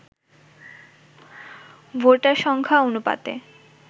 voter সংখ্যা অনুপাতে